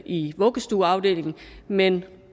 i vuggestueafdelingen men